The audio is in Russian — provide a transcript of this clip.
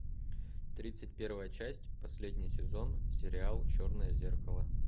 тридцать первая часть последний сезон сериал черное зеркало